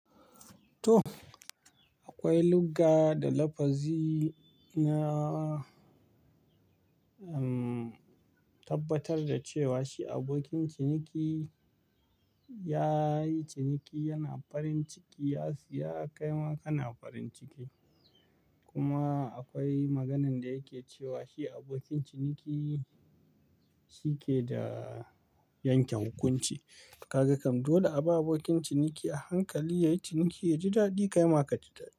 To, akwai lugga da lafazi nah, tabbatar da cewa shi abokin ciniki ya yi ciniki, yana farin ciki, ya siya, kai ma kana farin ciki. Kuma akwai maganan da yake cewa shi abokin ciniki shi ke da yanke hukunci. Kaga kam, dole a bi abokin ciniki a hankali, ya yi ciniki, ya ji daɗi, kai ma kaji daɗi.